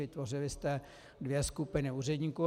Vytvořili jste dvě skupiny úředníků.